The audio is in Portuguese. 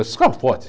Esses carros fortes